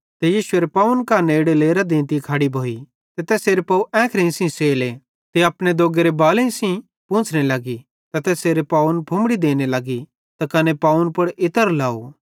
ते यीशुएरे पावन कां नेड़े लेरां देंती खड़ी भोई ते तैसेरे पाव एंखेइं सेइं सेले ते अपने दोग्गेरे बालेईं सेइं पोंछ़ने लगी ते तैसेरे पावन फुम्मड़ी देने लगी कने पावन पुड़ इत्र लाव